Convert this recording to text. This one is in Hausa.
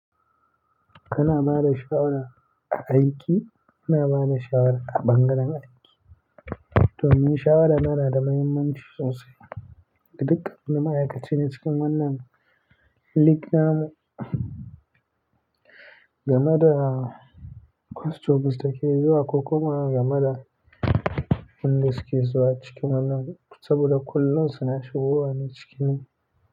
Kana bada shawara a aiki? Ina bada shawara a ɓangaren aiki. Domin shawara na da muhimmanci sosai ga duk wani ma'aikaci na cikin wannan link namu game da questions da ke zuwa ko kuma game da wanda suke zuwa cikin wannan saboda kullum suna shigowa ne cikin.